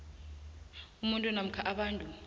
umuntu namkha abantu